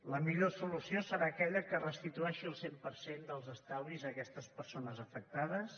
la millor solució serà aquella que restitueixi el cent per cent dels estalvis a aquestes persones afectades